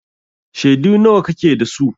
Shaidu nawa kake da su?